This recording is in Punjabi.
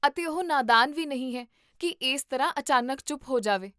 ਅਤੇ ਉਹ ਨਾਦਾਨ ਵੀ ਨਹੀਂ ਹੈ, ਕੀ ਇਸ ਤਰ੍ਹਾਂ ਅਚਾਨਕ ਚੁੱਪ ਹੋ ਜਾਵੇ